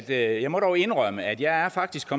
jeg jeg må dog indrømme at jeg faktisk